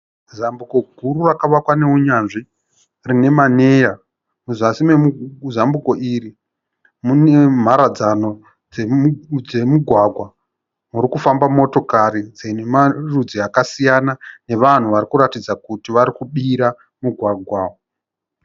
Zambuko guru rakavakwa nenyanzvi rine manera. Muzasi mezambuko iri mune mharadzano dzemigwagwa, muri kufamba motokari dzine marudzi akasiyana nevanhu varikuratidza kuti varikubira mugwagwa.